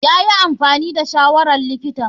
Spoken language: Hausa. Yayi amfani da shawarar likitan.